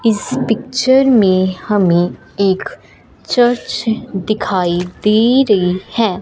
इस पिक्चर में हमें एक चर्च दिखाई दे रही है।